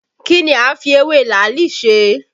Kí ni a ń fi ewé làálì ṣe?